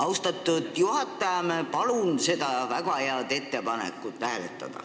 Austatud juhataja, palun seda väga head ettepanekut hääletada!